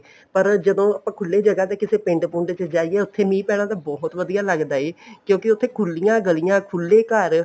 ਪਰ ਜਦੋਂ ਆਪਾਂ ਖੁੱਲੀ ਜਗ੍ਹਾ ਤੇ ਪਿੰਡ ਪੁੰਡ ਚ ਜਾਈਏ ਉੱਠ ਮੀਂਹ ਪੈਣਾ ਬਹੁਤ ਵਧੀਆ ਲੱਗਦਾ ਕਿਉਂਕੀ ਉੱਥੇ ਖੁਲੀਆਂ ਗਲੀਆਂ ਖੁੱਲੇ ਘਰ